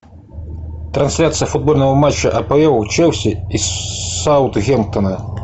трансляция футбольного матча апл челси и саутгемптона